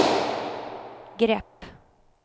grepp